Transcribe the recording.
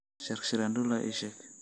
shark shirandula ii sheeg